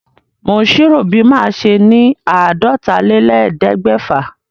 Mò ń ṣírò bí màá ṣe ni àádọ́tálélẹ́ẹ̀ẹ́dẹ́gbẹ́fà.